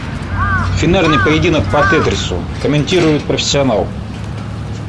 финальный поединок по тетрису комментирует профессионал